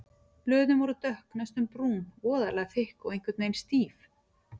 Blöðin voru dökk, næstum brún, voðalega þykk og einhvern veginn stíf.